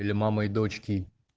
для мамы и дочки